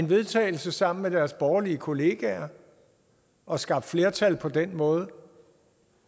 vedtagelse sammen med deres borgerlige kollegaer og skabt et flertal på den måde